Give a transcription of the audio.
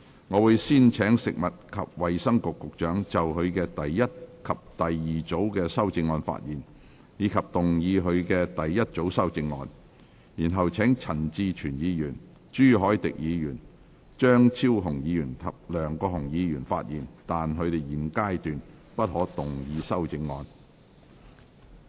我會先請食物及衞生局局長就他的第一組及第二組修正案發言，以及動議他的第一組修正案，然後請陳志全議員、朱凱廸議員、張超雄議員及梁國雄議員發言，但他們在現階段不可動議修正案。